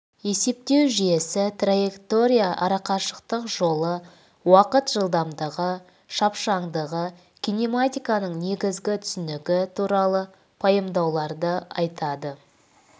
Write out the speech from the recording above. есептеу жүйесі траектория арақашықтық жолы уақыт жылдамдығы шапшаңдығы кинематиканың негізгі түсінігі туралы пайымдауларды айтады